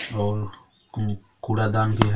और कु कूड़ादान भी है।